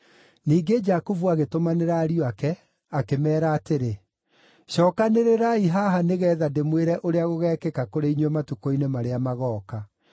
Ningĩ Jakubu agĩtũmanĩra ariũ ake, akĩmeera atĩrĩ: “Cookanĩrĩrai haha nĩgeetha ndĩmwĩre ũrĩa gũgekĩka kũrĩ inyuĩ matukũ-inĩ marĩa magooka.